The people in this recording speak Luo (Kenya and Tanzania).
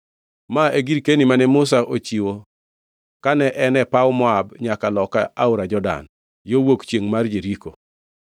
Ma e girkeni mane Musa ochiwo kane en e paw Moab nyaka loka aora Jordan, yo wuok chiengʼ mar Jeriko.